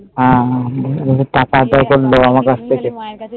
হম